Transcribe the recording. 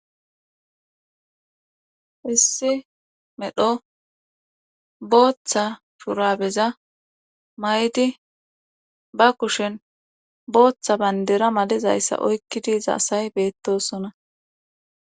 issi medho booththa phuraabeza may7di ba kushen booththa bayndera malizayssa oykki diiza asay beettosona